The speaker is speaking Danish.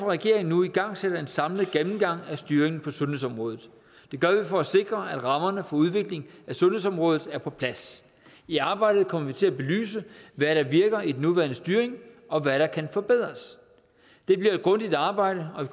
regeringen nu igangsætter en samlet gennemgang af styringen på sundhedsområdet det gør vi for at sikre at rammerne for udvikling af sundhedsområdet er på plads i arbejdet kommer vi til at belyse hvad der virker i den nuværende styring og hvad der kan forbedres det bliver et grundigt arbejde og